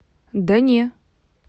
да не